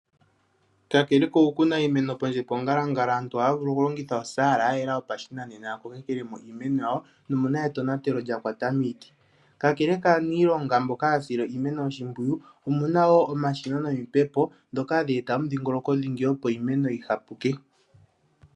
Kakele okukuna iimeno pondje pongalangala aantu ohaya vulu okulongitha ostayela yayela yopashinanena yakolekelemo iimeno yawo nomuna etonatelo lyakwata miiti. Kakele kaaniilongo mboka haya sile iimeno oshimpwiyu omuna woo omashina nomipepo dhoka hadhi e ta omudhingolo dhingi opo iimeno yihapuke.